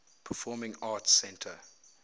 performing arts center